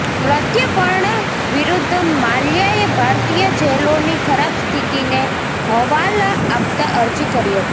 પ્રત્યર્પણ વિરુદ્ધ માલ્યાએ ભારતીય જેલોની ખરાબ સ્થિતિને હવાલા આપતા અરજી કરી હતી